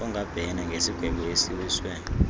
angabhena ngesigwebo esiwiswe